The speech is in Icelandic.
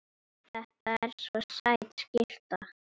Þetta er svo sæt skyrta.